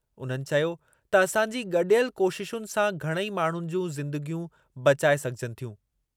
उन्हनि चयो त असांजी गॾियल कोशिशुनि सां घणई माण्हुनि जूं ज़िंदगियूं बचाए सघिजनि थियूं।